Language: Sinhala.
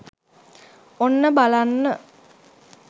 ඔන්න බලන්න